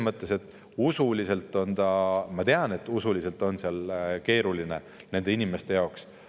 Ma tean, et usuliselt on see keeruline nende inimeste jaoks.